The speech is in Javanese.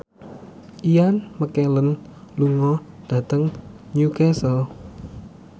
Ian McKellen lunga dhateng Newcastle